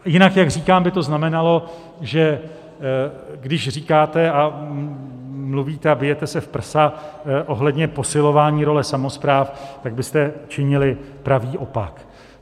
Jinak, jak říkám, by to znamenalo, že když říkáte a mluvíte a bijete se v prsa ohledně posilování role samospráv, tak byste činili pravý opak.